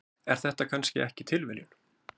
Er þetta kannski ekki tilviljun?